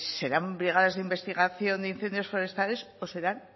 serán brigadas de investigación de incendios forestales o serán